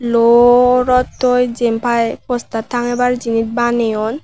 lw rottoi jin pai poster tangebar jinish baneyoun.